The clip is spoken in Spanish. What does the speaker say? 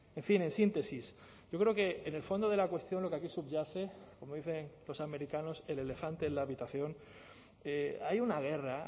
en fin en síntesis yo creo que en el fondo de la cuestión lo que aquí subyace como dicen los americanos el elefante en la habitación hay una guerra